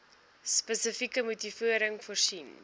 spesifieke motivering voorsien